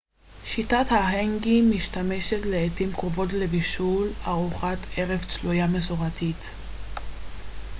שיטת ההנגי משמשת לעתים קרובות לבישול ארוחת ערב צלויה מסורתית